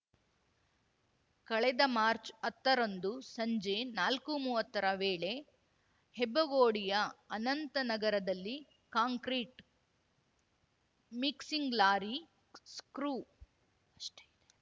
ಕಳೆದ ಮಾರ್ಚ್ ಹತ್ತ ರಂದು ಸಂಜೆ ನಾಲ್ಕುಮೂವತ್ತರ ವೇಳೆ ಹೆಬ್ಬಗೋಡಿಯ ಅನಂತನಗರದಲ್ಲಿ ಕಾಂಕ್ರೀಟ್ ಮಿಕ್ಸಿಂಗ್ ಲಾರಿ ಸ್ಕ್ರೂ ಅಷ್ಟೇ ಇದೆ